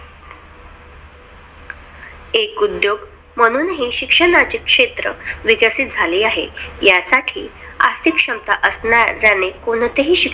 एक उद्योग म्हणून ही शिक्षणाचा क्षेत्र विकसित झाले आहे. यासाठी आर्थिक क्षमता असणाऱ्याने कोणतेही